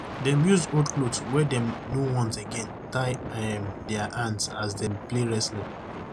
dem use old cloth wey dem no want again tie um dia hand as dem play wrestling